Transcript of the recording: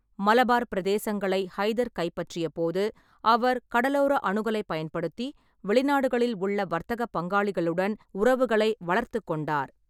மலபார் பிரதேசங்களை ஹைதர் கைப்பற்றியபோது, அவர் கடலோர அணுகலைப் பயன்படுத்தி வெளிநாடுகளில் உள்ள வர்த்தகப் பங்காளிகளுடன் உறவுகளை வளர்த்துக் கொண்டார்.